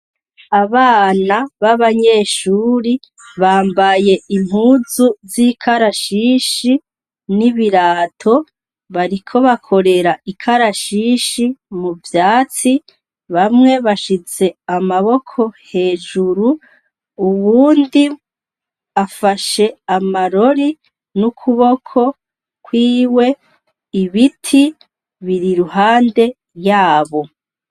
Abana babanyeshure bambaye impuzu zikarashishi ni birato bariko bakorera ikarashishi muvyatsi bamwe bashize amaboko hejuru uwundi afashe amarori nukuboko kwiwe ibiti biri iruhande yaho